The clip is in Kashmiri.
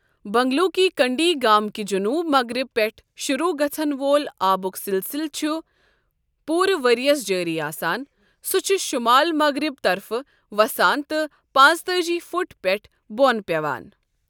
بَنٛگلو کی کنٛڈی گامکہِ جُنوٗب مَغرِب پٮ۪ٹھ شُروع گَژَھن وول آبُک سِلسِلہٕ چُھ پوٗرٕ وِرییَس جٲری آسان، سوٛ چُھ شُمال مَغرِب طَرفہٕ وَسان تہٕ پانٛژتأجی فُٹ پٮ۪ٹھہٕ بوٛن پٮ۪وان ۔